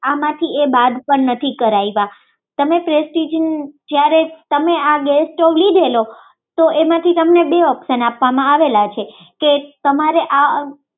આમાંથી એ બાદ પણ નથી કરાવ્યા તમે પ્રેસ્ટીજનો આ ગેસ સ્ટોવ લીધેલો તો એમાંથી તમને બે ઓપ્શન આપવામાં આવેલા છે